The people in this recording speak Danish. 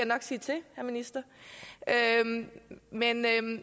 nok sige til herre minister men